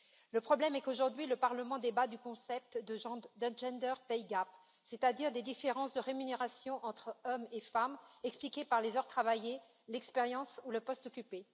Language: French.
Le problème est qu'aujourd'hui, le Parlement débat du concept de gender pay gap c'est à dire des différences de rémunération entre hommes et femmes expliquées par les heures travaillées, l'expérience ou le poste occupé.